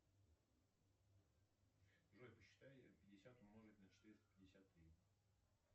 джой посчитай пятьдесят умножить на четыреста пятьдесят три